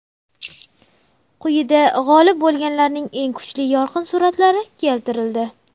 Quyida g‘olib bo‘lganlarning eng kuchli yorqin suratlari keltirildi.